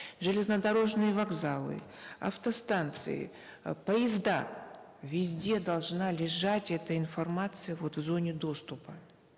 железнодорожные вокзалы автостанции э поезда везде должна лежать эта информация вот в зоне доступа